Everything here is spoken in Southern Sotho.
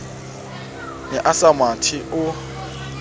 ne a sa mathe o